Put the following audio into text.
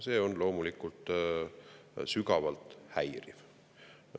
See on loomulikult sügavalt häiriv.